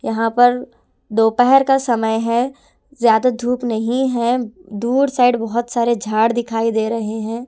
यहां पर दोपहर का समय है ज्यादा धूप नहीं है दूर साइड बहुत सारे झाड़ दिखाई दे रहे हैं.